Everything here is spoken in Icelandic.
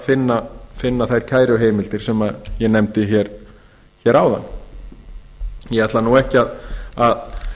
var að finna þær kæruheimildir sem sem ég nefndi hér áðan ég ætla nú ekki að